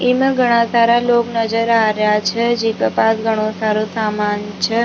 इमा घना सारा लोग नजर आ रिया छे जिके पास घणो सारो सामान छे।